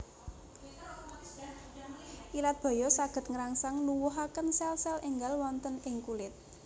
Ilat baya saged ngrangsang nuwuhaken selsel énggal wonten ing kulit